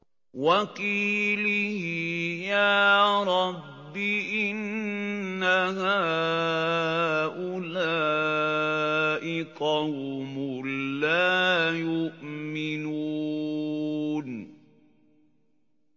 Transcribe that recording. وَقِيلِهِ يَا رَبِّ إِنَّ هَٰؤُلَاءِ قَوْمٌ لَّا يُؤْمِنُونَ